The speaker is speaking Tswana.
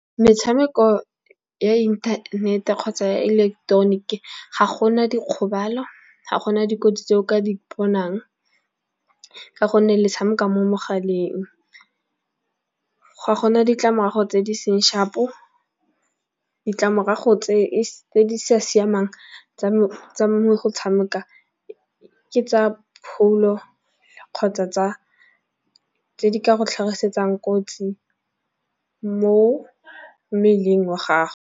Metshameko ya inthanete kgotsa ya ileketeroniki ga gona dikgobalo, ga gona dikotsi tse o ka di bonang ka gonne le tshameko mo mogaleng. Ga gona ditlamorago tse di seng shapo, ditlamorago tse di sa siamang tsa me go tshameka ke tsa pholo kgotsa tsa tse di ka go tlhagisetsang kotsi mo mmeleng wa gago.